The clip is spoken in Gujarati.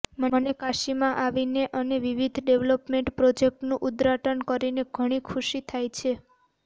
મને કાશીમાં આવીને અને વિવિધ ડેવલપમેન્ટ પ્રોજેક્ટ્સનું ઉદ્ઘાટન કરીને ઘણી ખુશી થાય છે